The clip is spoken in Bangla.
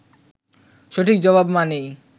সঠিক জবাব মানেই